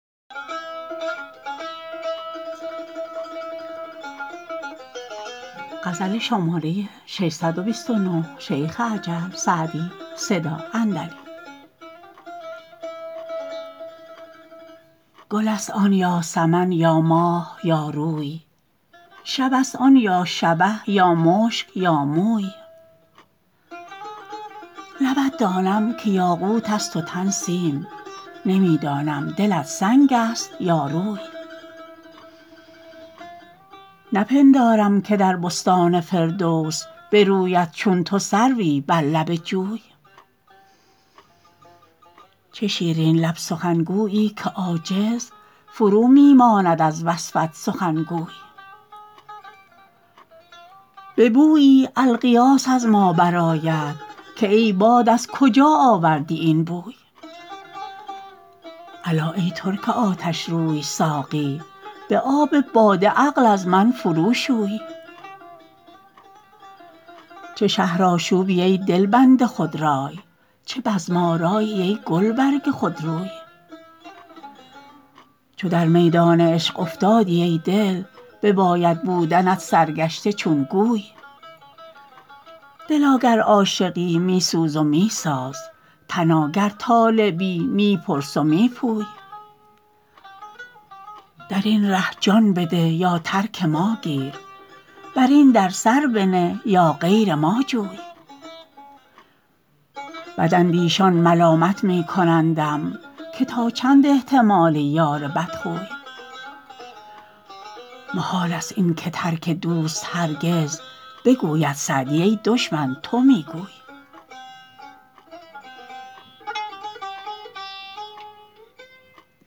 گل است آن یا سمن یا ماه یا روی شب است آن یا شبه یا مشک یا موی لبت دانم که یاقوت است و تن سیم نمی دانم دلت سنگ است یا روی نپندارم که در بستان فردوس بروید چون تو سروی بر لب جوی چه شیرین لب سخنگویی که عاجز فرو می ماند از وصفت سخنگوی به بویی الغیاث از ما برآید که ای باد از کجا آوردی این بوی الا ای ترک آتشروی ساقی به آب باده عقل از من فرو شوی چه شهرآشوبی ای دلبند خودرای چه بزم آرایی ای گلبرگ خودروی چو در میدان عشق افتادی ای دل بباید بودنت سرگشته چون گوی دلا گر عاشقی می سوز و می ساز تنا گر طالبی می پرس و می پوی در این ره جان بده یا ترک ما گیر بر این در سر بنه یا غیر ما جوی بداندیشان ملامت می کنندم که تا چند احتمال یار بدخوی محال است این که ترک دوست هرگز بگوید سعدی ای دشمن تو می گوی